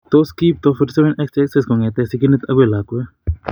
Tos kiipto 47 XXX kong'etke sigindet akoi lakwet?